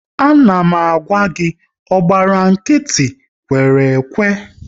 A na m gwa gị "ọ gbara nkịtị, kwere ekwe! "